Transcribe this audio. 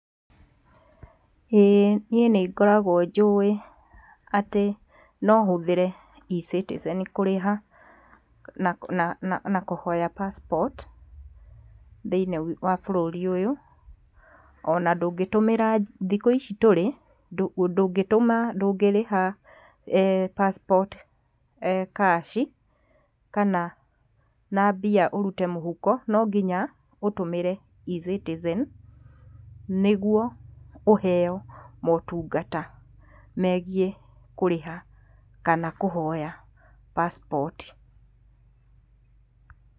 Ĩ, niĩ nĩngoragwo njũĩ atĩ no hũthĩre E-Citizen kũrĩha na na na kũhoya passpoti thĩiniĩ wa bũrũri-ũyũ. Ona ndũngĩtũmĩra, thiũ ici tũrĩ, ndũngĩtũmĩra ndũngĩrĩha passpoti kashi, kana na mbia ũrute mũhuko, no nginya ũtũmĩre E-Citizen, nĩguo ũheywo motungata megiĩ kũrĩha kana kuhoya passpoti